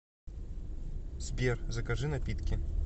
сбер закажи напитки